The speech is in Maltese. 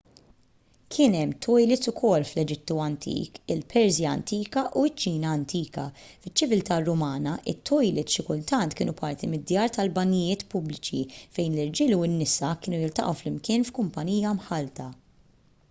kien hemm tojlits ukoll fl-eġittu antik il-persja antika u ċ-ċina antika fiċ-ċiviltà rumana it-tojlits xi kultant kienu parti mid-djar tal-banjijiet pubbliċi fejn l-irġiel u n-nisa kienu jiltaqgħu flimkien f'kumpanija mħallta